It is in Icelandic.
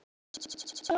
mánudegi